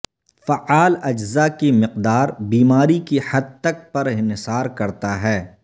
فعال اجزا کی مقدار بیماری کی حد تک پر انحصار کرتا ہے